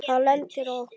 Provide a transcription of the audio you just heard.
Það lendir á okkur.